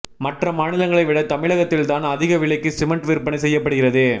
மற்ற மாநிலங்களை விட தமிழகத்தில் தான் அதிக விலைக்கு சிமெண்ட் விற்பனை செய்யப்படுகிறது